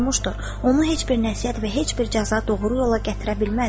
Onu heç bir nəsihət və heç bir cəza doğru yola gətirə bilməz.